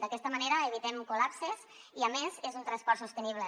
d’aquesta manera evitem col·lapses i a més és un transport sostenible